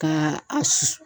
Ka a susu.